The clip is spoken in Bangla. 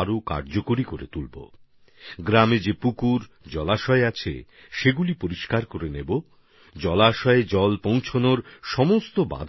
বৃষ্টির জল সংরক্ষণের যে পদ্ধতি আছে তাকে আরও শক্তিশালী করে তুলবো গ্রামের জলাশয়ে পুকুরে পরিষ্কার করিয়ে নেবো জলের উৎস পর্যন্ত জল আসার সমস্ত বাধা